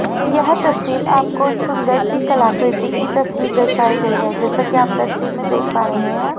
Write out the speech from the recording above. यह तस्वीर आपको सुंदर सी कलाकृति की तस्वीर दर्शाई गई है जैसा कि आप तस्वीर में देख पा रहे हैं।